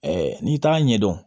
n'i t'a ɲɛdɔn